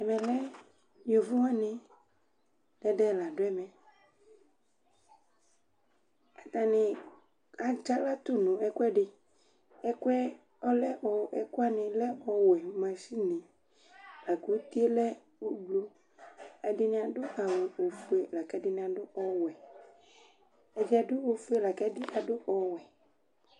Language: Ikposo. Ɛmɛ lɛ yovo wanɩ ɛdɩ la dʋ ɛmɛAtanɩ atsaɣlatʋ nʋ ɛkʋɛdɩƐkʋɛ ɔlɛmʋ, ɛkʋwanɩ lɛ ɔwɛ ,machine; akʋ utie lɛ ʋbluƐdɩnɩ adʋ awʋ ofue lakɛdɩnɩ adʋ ɔwɛƐdɩ adʋ ofue lakʋ ɛdɩ adʋ ɔwɛ